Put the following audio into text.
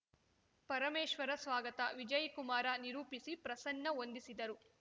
ಪರಮೇಶ್ವರ ಸ್ವಾಗತ ವಿಜಯಕುಮಾರ್ ನಿರೂಪಿಸಿ ಪ್ರಸನ್ನ ವಂದಿಸಿದರು